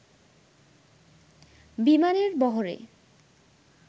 বিমানের বহরে